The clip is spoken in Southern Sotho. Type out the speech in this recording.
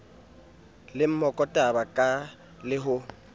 le mokotaba ka le ho